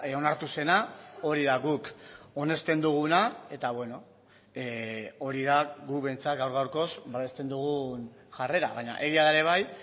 onartu zena hori da guk onesten duguna eta beno hori da gu behintzat gaur gaurkoz babesten dugun jarrera baina egia da ere bai